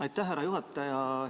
Aitäh, härra juhataja!